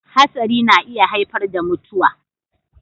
Hatsari na iya haifar da mutuwa.